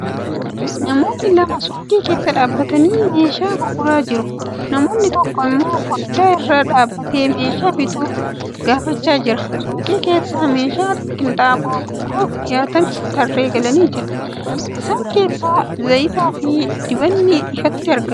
Namoonni lama suuqii keessa dhaabbatanii meeshaa gurguraa jiru. Namni tokko immoo fooddaa irra dhaabatee meeshaa bituuf gaafachaa jira. Suuqii keessa meeshaa qinxaaboo gurguraaf dhiyaatan tarree galanii jiru. Isaan keessaa zayitaafi dibanni ifatti argamu.